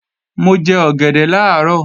Mo jẹ ọ̀gẹ̀dẹ̀ làárọ̀